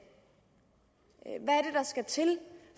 hvad skal til